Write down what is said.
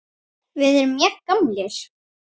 Við erum jafn gamlir.